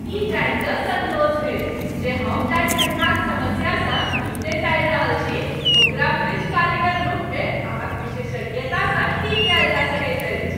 ई जानि कऽ सन्तोष भेल जे हम जाहि ठण्ढाक समस्यासँ निपटैत आबि रहल छी ओकरा फ्रिज कारीगर रूपमे अहाँक विशेषज्ञतासँ ठीक कयल जा सकैत अछि।